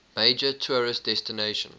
major tourist destination